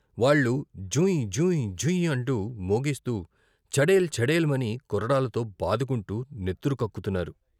వాళ్ళు జుయ్ జుయ్ జుయ్ అంటూ మోగిస్తూ చెడేల్ చెడేల్ మని కొరడాలతో బాదుకుంటూ నెత్తురుకక్కుతున్నారు.